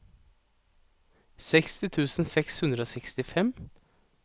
seksti tusen seks hundre og sekstifem